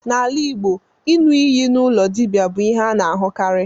N'ala Igbo, iṅụ iyi n'ụlọ dibia bụ ihe a na-ahụkarị.